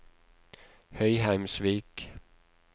Høyheimsvik